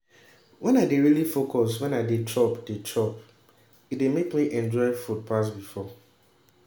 when i dey really focus when i dey chop dey chop e dey make me enjoy food pass before